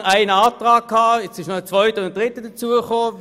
Inzwischen ist eine zweite und eine dritte dazugekommen.